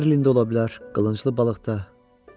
Marlində ola bilər, qılınclı balıq da.